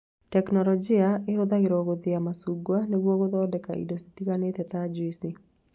Tekinorojĩ ĩhũthagĩrwo gũthĩa macungwa nĩguo gũthondeka indo citiganĩte ta juici